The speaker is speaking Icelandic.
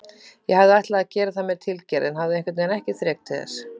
Ég hafði ætlað að gera það með tilgerð en hafði einhvernveginn ekki þrek til þess.